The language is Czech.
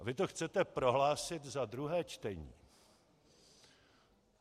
A vy to chcete prohlásit za druhé čtení!